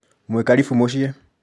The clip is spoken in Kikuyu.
Mwĩ karibu mũciĩ.